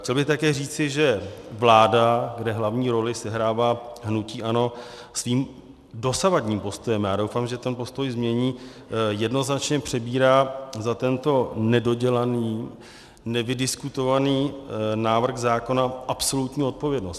Chtěl bych také říci, že vláda, kde hlavní roli sehrává hnutí ANO, svým dosavadním postojem, a já doufám, že ten postoj změní, jednoznačně přebírá za tento nedodělaný, nevydiskutovaný návrh zákona absolutní odpovědnost.